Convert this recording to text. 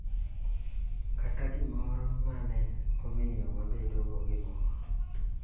Kata gimoro ma ne omiyo wabedo gi mor.